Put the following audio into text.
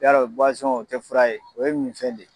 Yarɔ bɔwazɔn o tɛ fura ye o ye min fɛn de ye.